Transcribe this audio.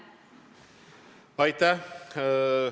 Aitäh!